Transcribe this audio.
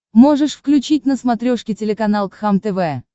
можешь включить на смотрешке телеканал кхлм тв